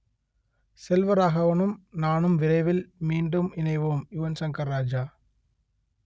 செல்வராகவனும் நானும் விரைவில் மீண்டும் இணைவோம் யுவன் சங்கர் ராஜா